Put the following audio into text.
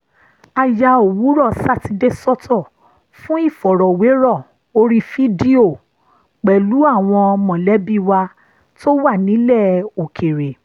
a ya òwúrọ̀ sátidé sọ́tọ̀ fún ìfọ̀rọ̀wérọ̀ orí fídíò pẹ̀lú àwọn mọ̀lẹ́bí wa tó wà nílẹ̀ òkèèrè